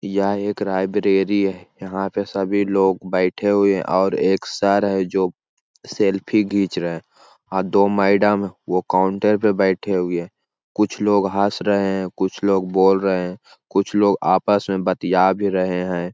यहाँ एक लाइब्ररी है यहाँ पे सभी लोग बैठे हुए है और एक सर है जो सेल्फी खींच रहा है और डी मैडम वो काउंटर पर बैठी हुई है कुछ लोग हस रहे है कुछ लोग बोल रहे है कुछ लोग आपस में बतिया भी रहे है।